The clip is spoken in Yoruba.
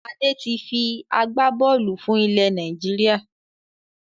Adé tí fi agbá-bọ́ọ́lù fún ilẹ̀ Nàìjíríà.